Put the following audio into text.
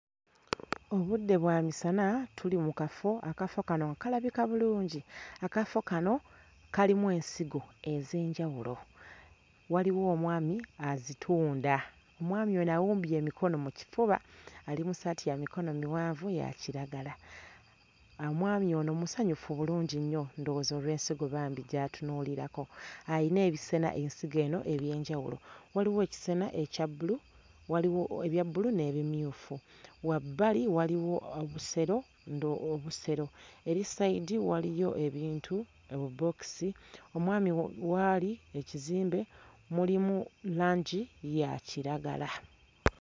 Obudde bwa misana tuli mu kafo, akafo kano kalabika bulungi, akafo kano kalimu ensigo ez'enjawulo, waliwo omwami azitunda, omwami ono awumbye emikono mu kifuba ali mu ssaati ya mikono miwanvu ya kiragala. Omwami ono musanyufu bulungi nnyo ndowooza olw'ensigo bambi gy'atunuulirako, ayina ebisena ensigo eno eby'enjawulo, waliwo ekisena ekya bbulu, waliwo ebya bbulu n'ebimyufu wabbali waliwo obusero ndo obusero eri ssayidi waliyo ebintu obubookisi omwami w'ali ekizimbe mulimu langi ya kiragala.